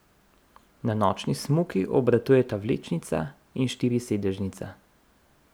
Na nočni smuki obratujeta vlečnica in štirisedežnica.